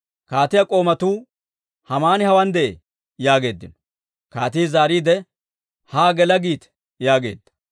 Kaatiyaa k'oomatuu, «Haamani hawaan de'ee» yaageeddino. Kaatii zaariide, «Haa gela giite» yaageedda.